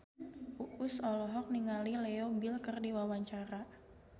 Uus olohok ningali Leo Bill keur diwawancara